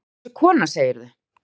Hver var þessi kona, segirðu?